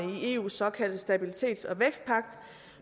i eus såkaldte stabilitets og vækstpagt